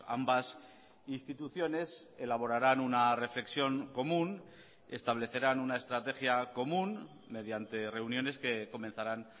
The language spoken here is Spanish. ambas instituciones elaborarán una reflexión común establecerán una estrategia común mediante reuniones que comenzarán